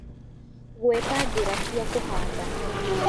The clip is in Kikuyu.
Gweta njĩra cia kũhanda